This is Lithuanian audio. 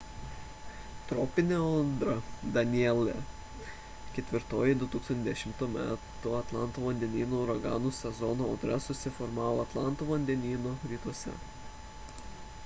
tropinė audra danielle ketvirtoji 2010 m atlanto vandenyno uraganų sezono audra susiformavo atlanto vandenyno rytuose